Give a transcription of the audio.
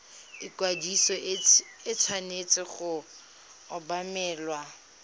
ikwadiso e tshwanetse go obamelwa